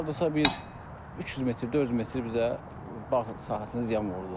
Hardasa bir 300 metr, 400 metr bizə bağ sahəsinə ziyan vurdu.